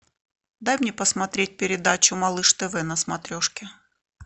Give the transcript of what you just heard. дай мне посмотреть передачу малыш тв на смотрешке